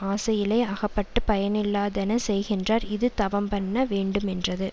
ஆசையிலே அகப்பட்டுப் பயனில்லாதன செய்கின்றார் இது தவம்பண்ண வேண்டுமென்றது